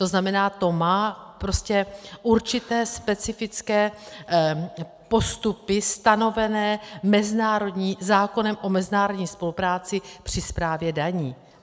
To znamená, to má určité specifické postupy stanovené zákonem o mezinárodní spolupráci při správě daní.